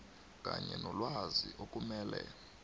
kanye nelwazi okumele